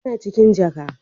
Yana cikin jaka.